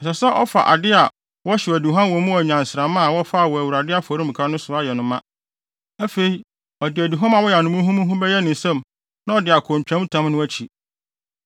Ɛsɛ sɛ ɔfa ade a wɔhyew aduhuam wɔ mu a nnyansramma a wɔfaa wɔ Awurade afɔremuka no so ayɛ no ma. Afei ɔde aduhuam a wɔayam no muhumuhu bɛyɛ ne nsam na ɔde akɔ ntwamtam no akyi.